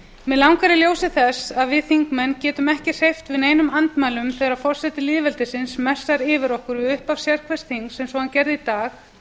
mig langar í ljósi þess að við þingmenn getum ekki hreyft neinum andmælum þegar forseti lýðveldisins messar yfir okkur við upphaf sérhvers þings eins og hann gerði í dag